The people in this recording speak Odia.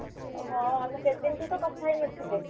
ହଁ ଆମେ କେତେ ଦିନଠୁ ତ କଥା ହେଇନଥିଲେ